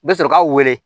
Bɛ sɔrɔ k'a wele